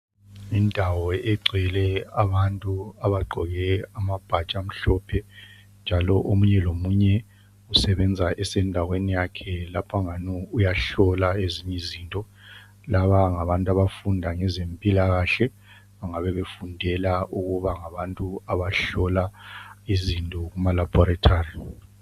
Indawo egcwele abantu abagqoke amabhatshi amhlophe. Njalo omunye lomunye usebenza esendaweni yakhe. Lapha kungani uyahlola ezinye izinto. Laba ngabantu abafunda ngezempilakahle. Bangabebefundela ukuba ngabantu abahlola izinto kumalabhoretari.